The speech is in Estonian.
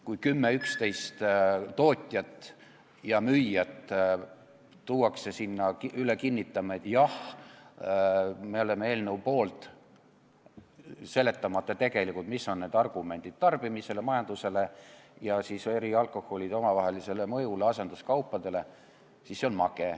Kui 10–11 tootjat ja müüjat tuuakse sinna kinnitama, et jah, me oleme eelnõu poolt, seletamata tegelikult, mis on mõjud tarbimisele, majandusele ja eri alkoholide müügile, asenduskaupade müügile, siis see on mage.